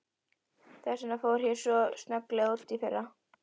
Þess vegna fór ég svo snögglega út í fyrra.